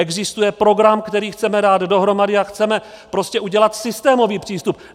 Existuje program, který chceme dát dohromady, a chceme prostě udělat systémový přístup.